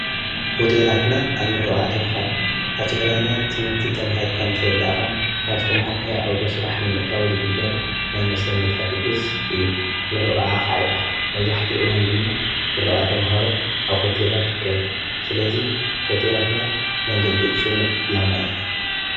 ሆቴላትና ኣብ ምርቓ ተምሃሮ ኣብ ትግራይና ትምህርቲ ተማሂርካ ምስ ወድእኻ ናብ ዝተምሃርካይ ዓውዶ ስራሕ ንምእታዊ ዝግበር ናይ መሰኔታ ድግስ እዩ ምርቓ ከዓ ይበሃል። መብዛሕቲ እዋን ድማ ምርቓ ተምሃሮ ኣብ ሆቴላት ይካየድ፣ ስለዙይ ሆቴላትና መንገዲ ፅኑዕ ዕላማ እየን።